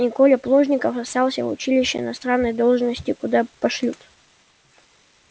и коля плужников остался в училище на странной должности куда пошлют